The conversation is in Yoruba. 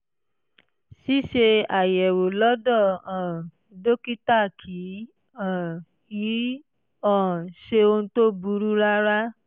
ṣíṣe àyẹ̀wò lọ́dọ̀ um dókítà kì um í um ṣe ohun tó burú rárá